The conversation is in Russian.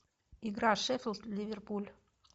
игра шеффилд ливерпуль